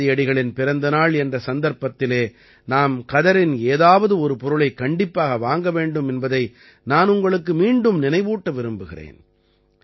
காந்தியடிகளின் பிறந்த நாள் என்ற சந்தர்ப்பத்திலே நாம் கதரின் ஏதாவது ஒரு பொருளைக் கண்டிப்பாக வாங்க வேண்டும் என்பதை நான் உங்களுக்கு மீண்டும் நினைவூட்ட விரும்புகிறேன்